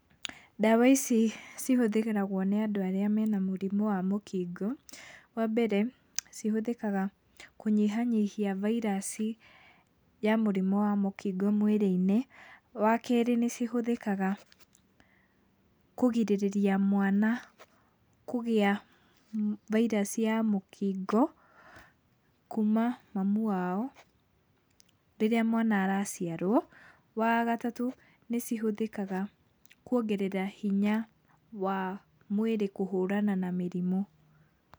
Ndawa ici cihũthagĩrwo nĩ andũ arĩa mena mũrimũ wa mũkingo. Wambere cihũthĩkaga kũnyihanyihia vairaci ya mũrĩmũ wa mũkingo mwĩrĩ-inĩ. Wakerĩ nĩcihũthĩkaga kũgirĩrĩria mwana kũgĩa vairaci ya mũkingo kuma mamu wao rĩrĩa mwana araciarwo. Wagatatũ nĩcihũthĩkaga kuongerera hinya wa mwĩrĩ kũhũrana na mĩrimũ.